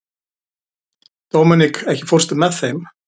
Dominik, ekki fórstu með þeim?